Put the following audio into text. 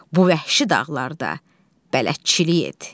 Bu vəhşi dağlarda bələdçilik et.